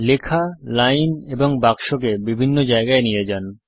লেখা লাইন এবং বাক্সকে বিভিন্ন জায়গায় নিয়ে যান